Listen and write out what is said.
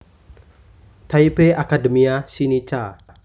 Taipei Academia Sinica